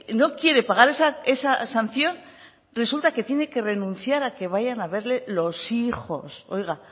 no quiere pagar esa sanción resulta que tiene que renunciar a que vayan a verle los hijos oiga